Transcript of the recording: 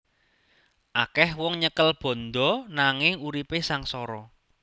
Akeh wong nyekel bandha nanging uripe sangsara